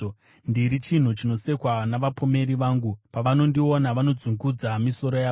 Ndiri chinhu chinosekwa navapomeri vangu; pavanondiona, vanodzungudza misoro yavo.